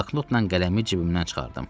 Bloknotla qələmi cibimdən çıxardım.